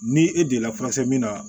Ni e deli la min na